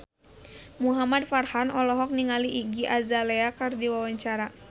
Muhamad Farhan olohok ningali Iggy Azalea keur diwawancara